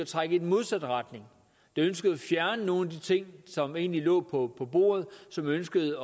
trække i den modsatte retning der ønskede at fjerne nogle af de ting som egentlig lå på bordet og som ønskede